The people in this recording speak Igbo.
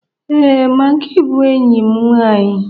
Ee, magi bụ enyi m nwanyị.